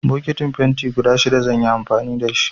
Bokitin fenti guda shida zan yi amfani da.